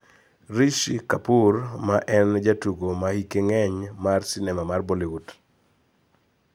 Rishi Kapoor ma en jatugo ma hike ng`eny mar sinema mar Bollywood